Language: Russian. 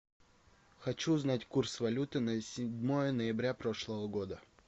хочу узнать курс валюты на седьмое ноября прошлого года